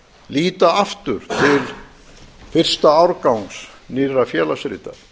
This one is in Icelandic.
líta aftur til fyrsta árgangs nýrra félagsrita